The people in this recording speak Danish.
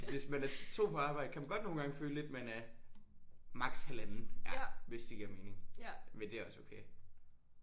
Hvis man er 2 på arbejde kan man godt nogle gange føle lidt man er maks. halvanden ja hvis det giver mening men det er også okay